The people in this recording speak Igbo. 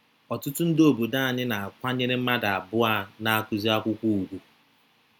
Ọtụtụ ndị obodo anyị na - akwanyere mmadụ abụọ a na - akụzi akwụkwọ ùgwù.